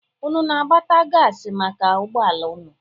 Unu na-agbata gaasị maka ụgbọala unu?